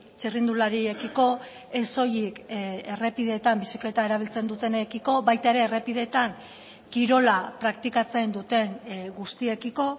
txirrindulariekiko ez soilik errepideetan bizikleta erabiltzen dutenekiko baita ere errepideetan kirola praktikatzen duten guztiekiko